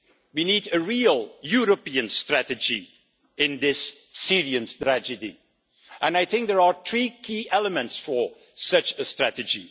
We need a real European strategy in this Syrian tragedy, and I think there are three key elements for such a strategy.